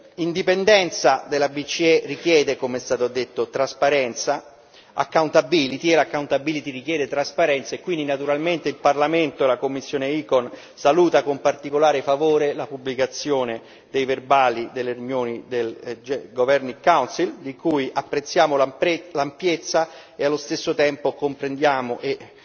L'indipendenza della BCE richiede, come è stato detto, trasparenza, accountability e l' accountability richiede trasparenza e quindi naturalmente il Parlamento e la commissione ECON salutano con particolare favore la pubblicazione dei verbali delle riunioni del Governing Council di cui apprezziamo l'ampiezza e allo stesso tempo comprendiamo e